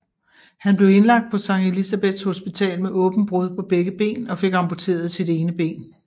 Han blev indlagt på Sct Elisabeths hospital med åbent brud på begge ben og fik amputeret sit ene ben